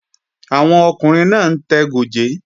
Àwọn ọkùnrin náà ń tẹ gòjé